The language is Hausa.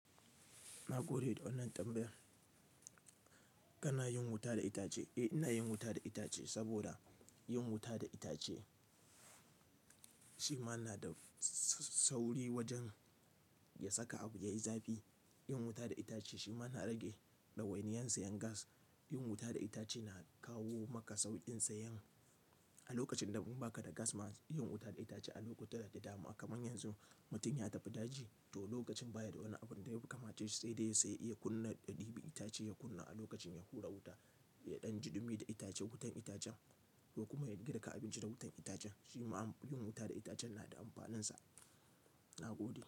Na gode da wannan tambayar. Kana yin wuta da itace? Eh ina yin wuta da itace saboda yin wuta da itace shi ma na da sauri wajen ya saka abu yayi zafi. Yin wuta da itace shi ma na rage ɗawainiyar sayan gas. Yin wuta da itace na kawo maka sauƙin sayan. A lokacin da baka da gas ma yin wuta da itace a lokuta da dama kaman yanzu mutum ya tafi daji to lokacin baya da wani abun da ya fi kamace sai dai sai iya kunna ɗabi'i itace ya kunna a lokacin ya hura wuta, ya ɗan ji dumi da itace wutan itacen ko kuma ya girka abinci da wutan itacen. Shi ma amfani yin wuta da itacen na da amfaninsa. Na gode.